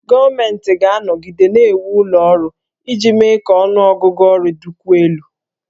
Gọọmenti ga-anọgide na-ewu ụlọ ọrụ iji mee ka ọnụ ọgụgụ ọrụ dịkwuo elu